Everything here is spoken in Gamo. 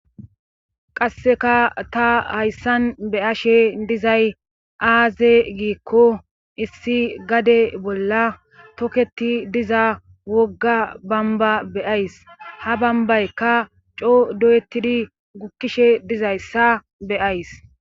Qasseka ta hayssan beyashe dizay aaze giikko issi gade bolla toketi diza wogga bamba beyays ha bambaykka coo doyettidi gukkishe dizayssa beyays